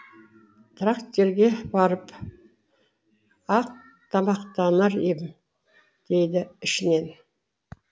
трактирге барып ақ тамақтанар ем дейді ішінен